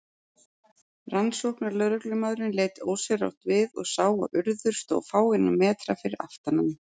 Rannsóknarlögreglumaðurinn leit ósjálfrátt við og sá að Urður stóð fáeina metra fyrir aftan hann.